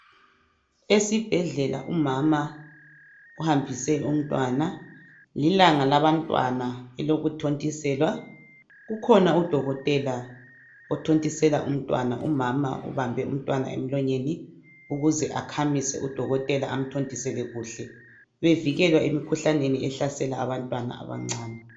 Esibhedlela umama uhambise umntwana lilanga labantwana eloku thontiselwa kukhona udokotela othontisela umntwana umama ubambe umntwana emlonyeni ukuze akhamise udokothela amthontisele kuhle bevekelwa emkhuhlaneni ohlasela abantwana abancane.